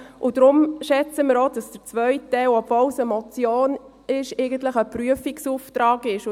Deshalb schätzen wir auch, dass der zweite Teil, obwohl es eine Motion ist, eigentlich ein Prüfungsauftrag ist.